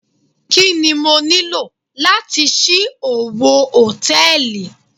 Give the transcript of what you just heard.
Kí ni mo nílò láti ṣí owó Hòtẹ́lìì?